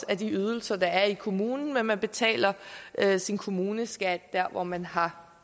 af de ydelser der er i kommunen men man betaler sin kommuneskat der hvor man har